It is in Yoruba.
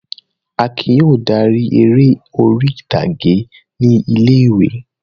Akin yóò dárí eré orí-ìtàgé ní ilé-ìwé.